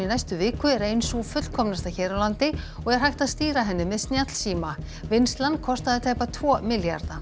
næstu viku er ein sú fullkomnasta hér á landi og er hægt að stýra henni með snjallsíma vinnslan kostaði tæpa tvo milljarða